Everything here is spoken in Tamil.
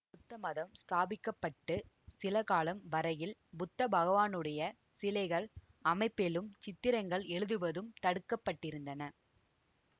புத்தமதம் ஸ்தாபிக்கப்பட்டுச் சிலகாலம் வரையில் புத்த பகவானுடைய சிலைகள் அமைப்பிலும் சித்திரங்கள் எழுதுவதும் தடுக்கப்பட்டிருந்தன